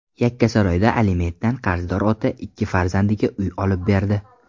Yakkasaroyda alimentdan qarzdor ota ikki farzandiga uy olib berdi.